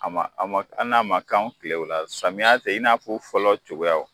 A ma a ma hali n'a ma k'an kilew la samiya fɛ i n'a fɔ fɔlɔ cogoyaw.